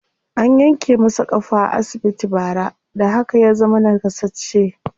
An yanke masa ƙafa a asibiti bara, da haka ya zama naƙasasshe.